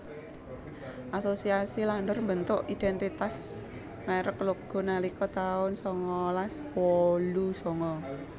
Asosiasi Landor mbentuk identitas merek Loggo nalika tahun sangalas wolu sanga